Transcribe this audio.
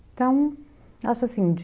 Então, acho assim, de...